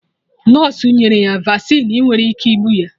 Nọsụ nyere ya Vasịn nwere ike igbu ya